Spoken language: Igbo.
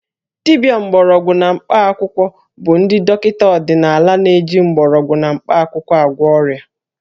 Dibịa mgbọrọgwụ na mkpaakwụkwọ bụ ndị dọkịta ọdịnala na-eji mgbọrọgwụ na mkpakwụkwọ agwọ ọrịa